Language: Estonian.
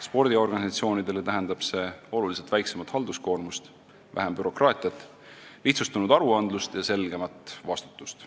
Spordiorganisatsioonidele tähendab see oluliselt väiksemat halduskoormust, vähem bürokraatiat, lihtsustunud aruandlust ja selgemat vastutust.